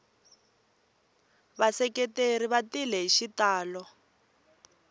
vaseketeri va tile hi xitalo